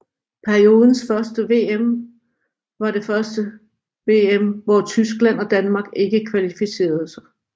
Periodens første VM var det første VM hvor Tyskland og Danmark ikke kvalificerede sig